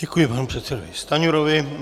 Děkuji panu předsedovi Stanjurovi.